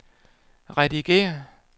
redigér